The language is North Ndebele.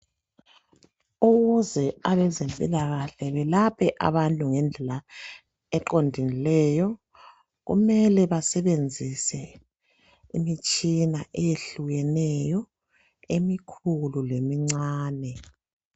Ukuze abezempilakahle belaphe abantu ngendlela eqondileyo kumele basebenzise imitshina eyehlukeneyo emikhulu lemincane